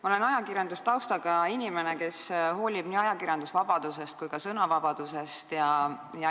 Ma olen ajakirjandustaustaga inimene, kes hoolib nii ajakirjandusvabadusest kui ka sõnavabadusest.